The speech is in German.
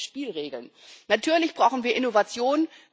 Brauchen wir neue Spielregeln? Natürlich brauchen wir Innovation.